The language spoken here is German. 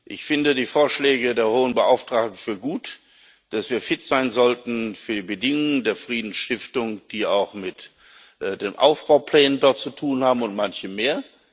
Ich halte die Vorschläge der hohen Beauftragten für gut, dass wir fit sein sollten für die Bedingungen der Friedensstiftung, die auch mit den Aufbauplänen dort zu tun haben und manchem mehr.